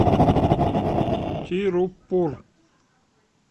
тируппур